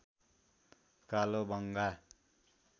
कालोबंगा